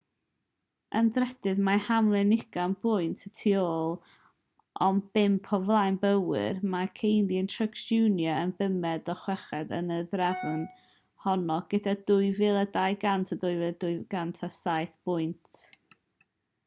yn drydydd mae hamlin ugain pwynt y tu ôl ond pump o flaen bowyer mae kahne a truex jr yn bumed a chweched yn y drefn honno gyda 2,200 a 2,207 pwynt